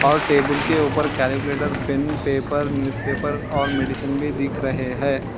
और टेबूल के ऊपर कैलकुलेटर पेन पेपर न्यूजपेपर और मेडिसिन भी दिख रहे हैं।